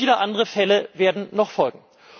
Aber viele andere Fälle werden noch folgen.